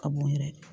Ka b'u yɛrɛ